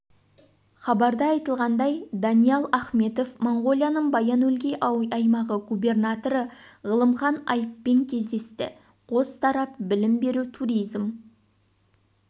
хабарда айтылғандай даниал ахметов моңғолияның баян-өлгей аймағы губернаторы ғылымхан айппен кездесті қос тарап білім беру туризм